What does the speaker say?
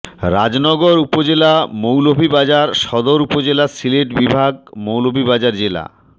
রাজনগর উপজেলা মৌলভীবাজার সদর উপজেলা সিলেট বিভাগ মৌলভীবাজার জেলা